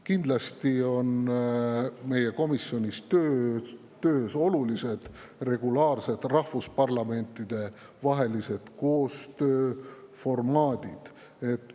Kindlasti on meie komisjoni töös olulised rahvusparlamentide vahelise koostöö formaadid ja regulaarsed.